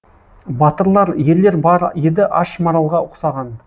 батырлар ерлер бар еді аш маралға ұқсаған